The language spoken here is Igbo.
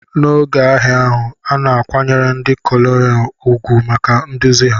N'oge agha ahụ, a na-akwanyere ndị Konelu ùgwù maka nduzi ha.